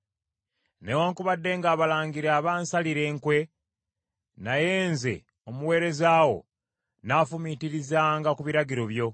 Newaakubadde ng’abalangira bansalira enkwe; naye nze, omuweereza wo, nnaafumiitirizanga ku biragiro byo.